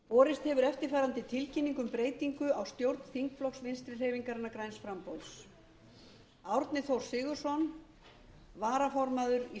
borist hefur eftirfarandi tilkynning um breytingu á stjórn þingflokks vinstri hreyfingarinnar græns framboðs árni þór sigurðsson varaformaður í